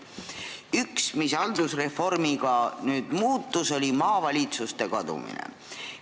Üks, mis haldusreformiga muutus, oli maavalitsuste kadumine.